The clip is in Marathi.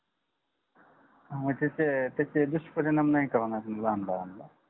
म्हणजे ते त्याचे दुष्परिणाम नाही कळणार लहान बाळाला